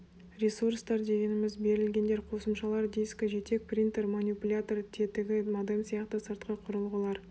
ресурстар дегеніміз берілгендер қосымшалар дискі жетек принтер манипулятор тетігі модем сияқты сыртқы құрылғылар